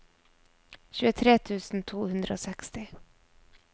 tjuetre tusen to hundre og seksti